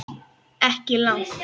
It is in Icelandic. Ekki langt.